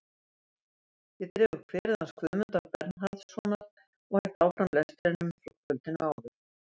Ég dreg upp kverið hans Guðmundar Bernharðssonar og held áfram lestrinum frá kvöldinu áður.